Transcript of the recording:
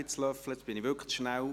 Ich war jetzt wirklich zu schnell.